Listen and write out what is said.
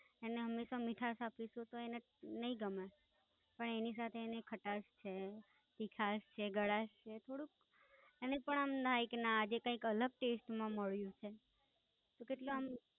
એને હંમેશા મીઠાશ આપી છે એટલા માટે એને નાઈ ગમે, પણ એની સાથે એને ખટાસ છે, મીઠાસ છે, ગલાસ છે, થોડુંક એને પણ આજે કેટલાક અલગ ટેસ્ટમાં માળિયું છે.